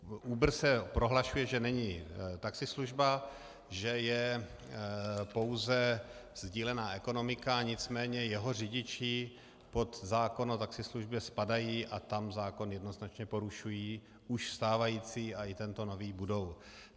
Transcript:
Uber se prohlašuje, že není taxislužba, že je pouze sdílená ekonomika, nicméně jeho řidiči pod zákon o taxislužbě spadají a tam zákon jednoznačně porušují, už stávající a i tento nový budou.